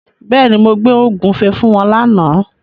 Bẹ́ẹ̀ni, mo gbé ògúnfe fún wọn lána.